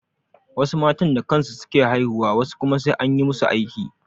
Wasu matan da kansu su ke haihuwa wasu kuma sai an yi masu aiki.